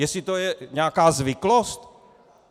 Jestli to je nějaká zvyklost?